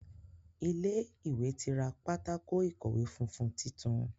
Ilé ìwé ti ra Pátákó ìkọ̀wé funfun títún.